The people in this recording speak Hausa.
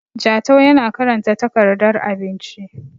Jatau yana karanta takardar abinci